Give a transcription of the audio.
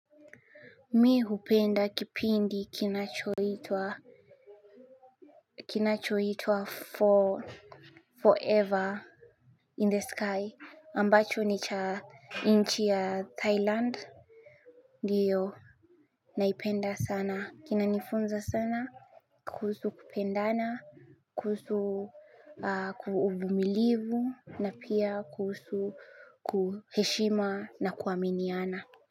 Mimi hupenda kipindi kinachoitwa Kinachoitwa Forever In the sky ambacho ni cha inchi ya Thailand. Ndiyo naipenda sana kinanifunza sana. Kuhusu kupendana kuhusu uvumilivu na pia kuhusu kuheshima na kuaminiana.